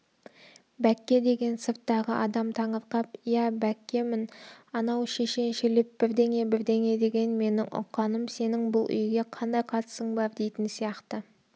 бәкке деген сырттағы адам таңырқап иә бәккемін анау шешеншелеп бірдеңе-бірдеңе деген менің ұққаным сенің бұл үйге қандай қатысың бар дейтін сияқты